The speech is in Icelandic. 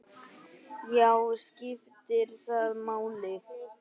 Já, skiptir það máli?